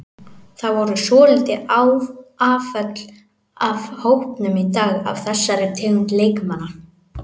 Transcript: Það voru svolítil afföll af hópnum í dag af þessari tegund leikmanna.